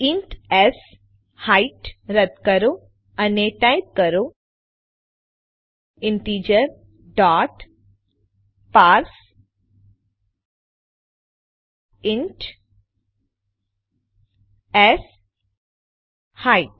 int height રદ કરો અને ટાઇપ કરો ઇન્ટિજર ડોટ પાર્સેઇન્ટ શેઇટ